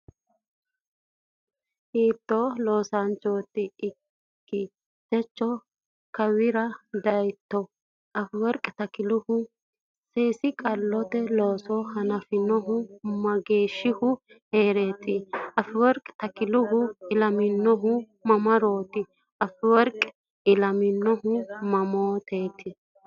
Hiittoo loosaancho ikki? Techo kowiichira dayitto? Afeworqi Takilehu seesi qalote looso hanafinohu mageeshshihu hee’reeti? Afeworqi Takilehu ilaminohu mamarooti? Afeworqi ilaminohu mamaati?